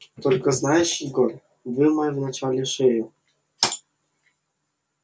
только знаешь егор вымой вначале шею